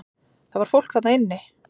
Það var fólk þarna inni!